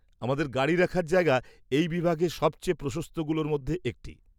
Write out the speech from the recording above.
আমাদের গাড়ি রাখার জায়গা এই বিভাগে সবচেয়ে প্রশস্তগুলোর মধ্যে একটি।